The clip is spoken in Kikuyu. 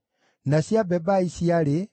na cia Jora ciarĩ 112,